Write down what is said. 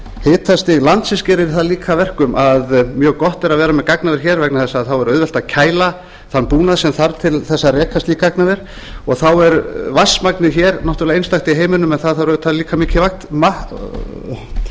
hitastig landsins gerir það líka að verkum að mjög gott er að vera með gagnaver hér vegna þess að þá er auðvelt að kæla þann búnað sem þarf til þess að reka slíkt gagnaver og þá er vatnsmagnið hér náttúrlega einstakt í heiminum en það þarf auðvitað líka mikið